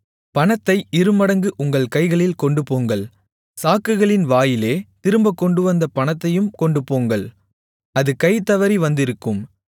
பணத்தை இருமடங்கு உங்கள் கைகளில் கொண்டுபோங்கள் சாக்குகளின் வாயிலே திரும்பக் கொண்டுவந்த பணத்தையும் கொண்டுபோங்கள் அது கை தவறி வந்திருக்கும்